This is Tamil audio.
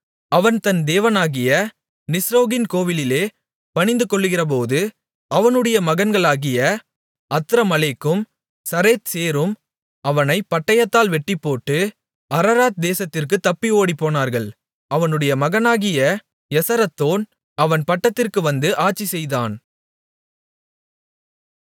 அவன் தன் தேவனாகிய நிஸ்ரோகின் கோவிலிலே பணிந்துகொள்ளுகிறபோது அவனுடைய மகன்களாகிய அத்ரமலேக்கும் சரேத்சேரும் அவனைப் பட்டயத்தால் வெட்டிப்போட்டு அரராத் தேசத்திற்குத் தப்பி ஓடிப்போனார்கள் அவனுடைய மகனாகிய எசரத்தோன் அவன் பட்டத்திற்கு வந்து ஆட்சிசெய்தான்